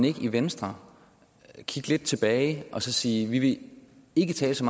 ikke i venstre kigge lidt tilbage og så sige vi vil ikke tale så